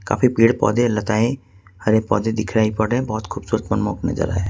काफी पेड़ पौधे लताऐं हरे पौधे दिखाई पड़ रहे बहुत खूबसूरत मनमोक नजारा हैं।